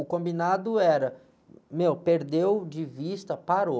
O combinado era, meu, perdeu de vista, parou.